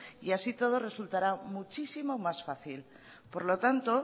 y así y todo resultará muchísimo más fácil por lo tanto